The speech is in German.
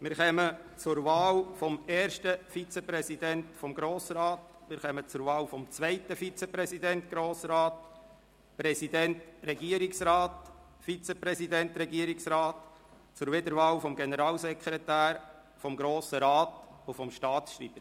Wir kommen zur Wahl des ersten Vizepräsidenten des Grossen Rats, dann zur Wahl des zweiten Vizepräsidenten des Grossen Rats, des Präsidenten des Regierungsrats, des Vizepräsidenten des Regierungsrats sowie zur Wiederwahl des Generalsekretärs des Grossen Rats und des Staatsschreibers.